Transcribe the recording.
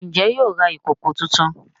Njé yóò rà ìkọkọ títún?